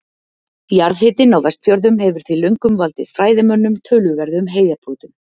Jarðhitinn á Vestfjörðum hefur því löngum valdið fræðimönnum töluverðum heilabrotum.